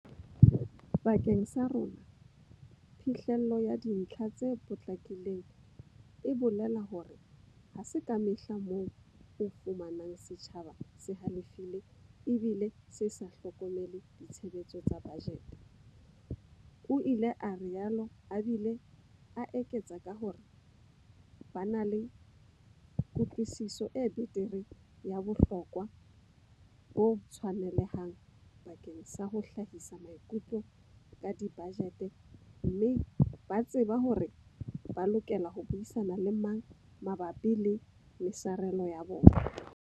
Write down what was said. Bakeng sa rona, phihlello ya dintlha tse potlakileng e bolela hore ha se kamehla moo o fumanang setjhaba se halefile ebile se sa hlokomele ditshebetso tsa bajete, o ile a rialo a bile a eketsa ka hore ba na le kutlwisiso e betere ya bohlokwa bo tshwanelehang bakeng sa ho hlahisa maikutlo ka dibajete mme ba tseba hore ba lokela ho buisana le mang mabapi le mesarelo ya bona.